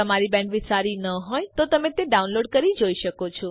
જો તમારી બેન્ડવિડ્થ સારી ન હોય તો તમે ડાઉનલોડ કરી તે જોઈ શકો છો